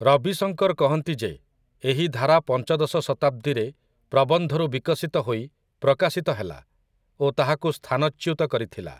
ରବି ଶଙ୍କର କହନ୍ତି ଯେ ଏହି ଧାରା ପଞ୍ଚଦଶ ଶତାବ୍ଦୀରେ 'ପ୍ରବନ୍ଧ'ରୁ ବିକଶିତ ହୋଇ ପ୍ରକାଶିତ ହେଲା ଓ ତାହାକୁ ସ୍ଥାନଚ୍ୟୁତ କରିଥିଲା ।